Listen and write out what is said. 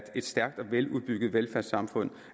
et stærkt og veludbygget velfærdssamfund